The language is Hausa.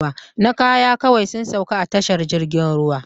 Na kaya kawai sun sauka a tashar jirgin ruwa